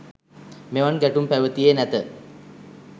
මෙවන් ගැටුම් පැවතියේ නැත.